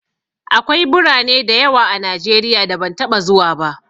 Akwai birane da yawa a Najeriya da ban taɓa zuwa ba.